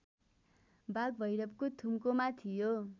बागभैरवको थुम्कोमा थियो